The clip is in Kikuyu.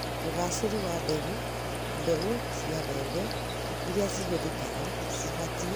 ũcagũri wa mbegũ: Mbegũ cia mbembe irĩa cihũthĩkaga cibatie